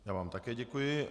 Já vám také děkuji.